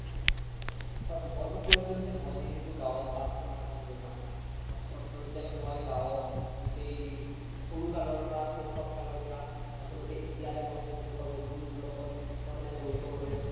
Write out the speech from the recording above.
হয় মই কৈ আছিলো যে মই যিহেতু গাওত বাস কৰা ল্'ৰা আচলতে মই গাওত গোতেই সৰু কালৰ পৰা সৈসৱ কালৰ পৰা আচলতে এতিয়া লে মই যি সক ল বন্ধুৰ লগত মই মানে যৰিত হৈ আছো